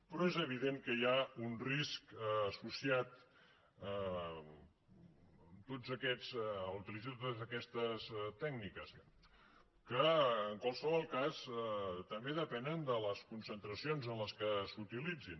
però és evident que hi ha un risc associat en la utilització de totes aquestes tècniques que en qualsevol cas també depenen de les concentracions amb què s’utilitzin